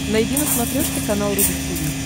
найди на смотрешке канал рубль ти ви